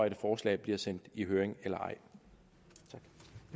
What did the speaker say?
et forslag bliver sendt i høring eller